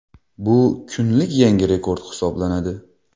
Bu kunlik yangi rekord hisoblanadi .